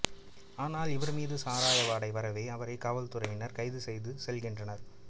ஆனால் இவர் மீது சாராய வாடை வரவே அவரை காவல்துறையினர் கைது செய்து செல்கின்றனர்